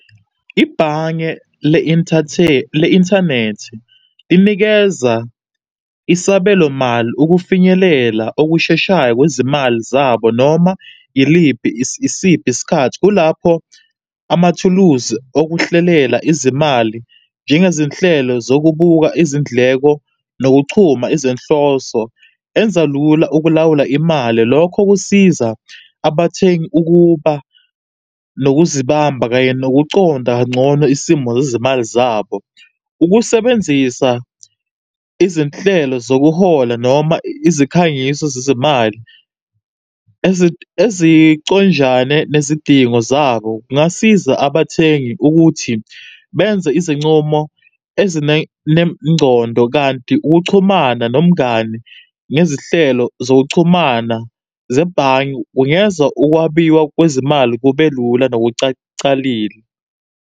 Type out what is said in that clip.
Ibhange le-inthanethi linikeza isabelomali ukufinyelela okusheshayo kwezimali zabo noma iliphi, isiphi isikhathi, kulapho amathuluzi okuhlelela izimali, njengezinhlelo zokubuka izindleko nokuchuma izinhloso enza lula ukulawula imali. Lokho kusiza abathengi ukuba nokuzibamba kanye nokunconda kangcono isimo zezimali zabo. Ukusebenzisa izinhlelo zokuhola noma izikhangiso zezimali, eziconjane nezidingo zabo kungasiza abathengi ukuthi benze izincumo ezine nengcondo kanti ukuchumana nomngani ngezihlelo zokuchumana zebhange, kungeza ukwabiwa kwezimali kubelula .